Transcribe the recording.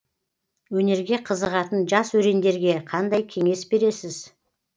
өнерге қызығатын жас өрендерге қандай кеңес бересіз